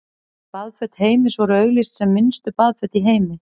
Baðföt Heims voru auglýst sem minnstu baðföt í heimi.